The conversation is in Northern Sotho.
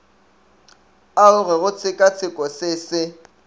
aroge go tshekatsheko se se